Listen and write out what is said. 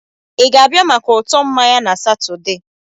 Ị ga-abịa maka ụtọ mmanya na Satọde?